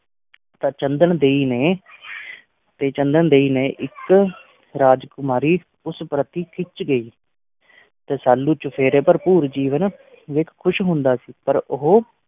ਤਾਂ ਚੰਦਨ ਦੇਈ ਨੇ ਤੇ ਚੰਦਨ ਦੇਈ ਨੇ ਇੱਕ ਰਾਜਕੁਮਾਰੀ ਉਸ ਪ੍ਰਤਿ ਖਿੱਚ ਗਈ ਰਸਾਲੂ ਚੁਫੇਰੇ ਭਰਪੂਰ ਜੀਵਨ ਵੇਖ ਖ਼ੁਸ਼ ਹੁੰਦਾ ਸੀ ਪਰ ਉਹ